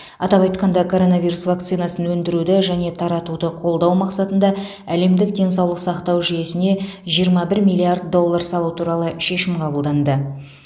атап айтқанда коронавирус вакцинасын өндіруді және таратуды қолдау мақсатында әлемдік денсаулық сақтау жүйесіне жиырма бір миллиард доллар салу туралы шешім қабылданды